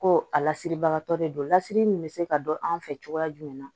Ko a lasiribagatɔ de don lasiri min bɛ se ka dɔn an fɛ cogoya jumɛn na